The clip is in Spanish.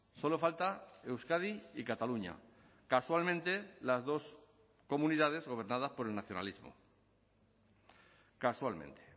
solo falta euskadi y cataluña casualmente las dos comunidades gobernadas por el nacionalismo casualmente